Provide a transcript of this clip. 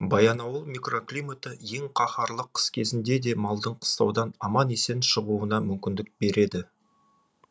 баянауыл микроклиматы ең қаһарлы қыс кезінде де малдың қыстаудан аман есен шығуына мүмкіндік береді